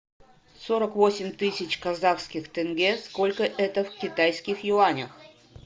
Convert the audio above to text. сорок восемь тысяч казахских тенге сколько это в китайских юанях